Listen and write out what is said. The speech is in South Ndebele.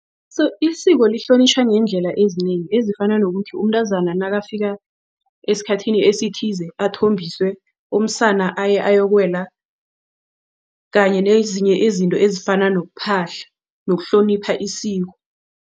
So isiko lihlonitjhwa ngeendlela ezinengi ezifana nokuthi umntazana nakafika esikhathini esithize athombiswe. Umsana aye ayokuwela kanye nezinye izinto ezifana nokuphahla nokuhlonipha isiko.